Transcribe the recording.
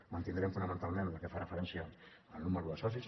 mantindrem fonamentalment la que fa referència al número de socis